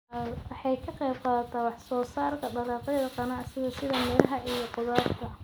Waxay ka qaybqaadataa wax-soo-saarka dalagyada ganacsiga sida miraha iyo khudaarta.